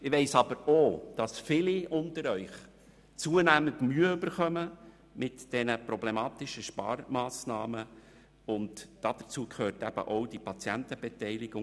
Ich weiss aber auch, dass viele unter Ihnen zunehmend mit den problematischen Sparmassnahmen Mühe bekommen, und dazu gehört eben auch diese Patientenbeteiligung.